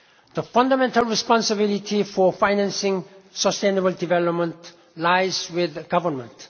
The fundamental responsibility for financing sustainable development lies with governments.